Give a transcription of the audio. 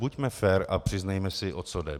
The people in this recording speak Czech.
Buďme fér a přiznejme si, o co jde.